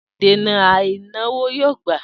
Den a'a e n'awo yo gba.